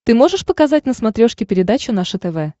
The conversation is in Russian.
ты можешь показать на смотрешке передачу наше тв